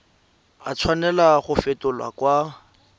a tshwanela go fetolwa kwa